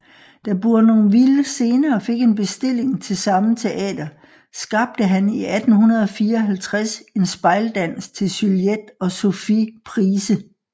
Da Bournonville senere fik en bestilling til samme teater skabte han i 1854 en spejldans til Juliette og Sophie Price